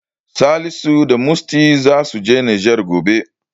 Salisu da Musty zasu je Nijar gobe.